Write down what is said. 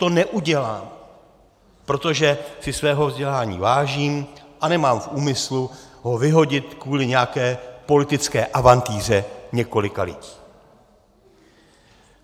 To neudělám, protože si svého vzdělání vážím a nemám v úmyslu ho vyhodit kvůli nějaké politické avantýře několika lidí.